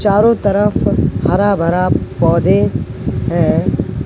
चारों तरफ हरा भरा पौधे है।